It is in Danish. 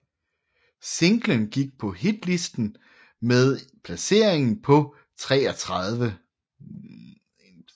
Singlen gik på Hitlisten med en placering på 33